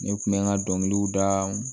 Ne kun bɛ n ka dɔnkiliw da